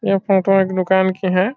यह फोटो एक दुकान की है।